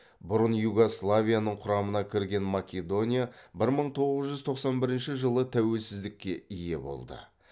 бұрын югославияның құрамына кірген македония бір мың тоғыз жүз тоқсан бірінші жылы тәуелсіздікке ие болды